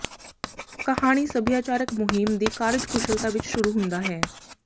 ਕਹਾਣੀ ਸਭਿਆਚਾਰਕ ਮੁਹਿੰਮ ਦੀ ਕਾਰਜਕੁਸ਼ਲਤਾ ਵਿੱਚ ਸ਼ੁਰੂ ਹੁੰਦਾ ਹੈ